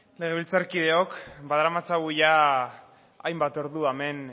legebiltzarkideok badaramatzagu hainbat ordu hemen